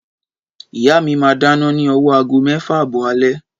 Ìyá mí máa dáná ní owó aago mẹ́fà àbọ̀ alé.